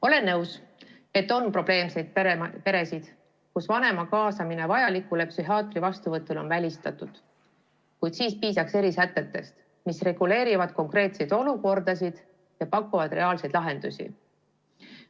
Olen nõus, et on probleemseid peresid, kus vanema kaasamine vajalikule psühhiaatri vastuvõtule on välistatud, kuid siis piisaks erisätetest, mis reguleerivad konkreetseid olukordasid ja pakuvad reaalseid lahendusi.